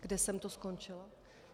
Kde jsem to skončila...?